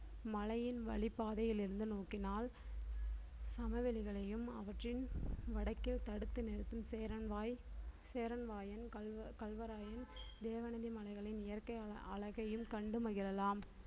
மலையின் வழிப்பாதையில் இருந்து நோக்கினால் சமவெளிகளையும் அவற்றின் வடக்கில் தடுத்து நிறுத்தும் சேரன் வாய் சேரன் வாயன் கள்வ~ கள்வராயன் தேவநந்தி மலைகளின் இயற்கை அழ~ அழகையும் கண்டு மகிழலாம்